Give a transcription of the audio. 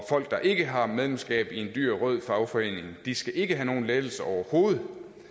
folk der ikke har medlemskab i en dyr rød fagforening skal ikke have nogen lettelse overhovedet